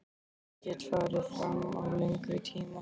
En ég get farið fram á lengri tíma.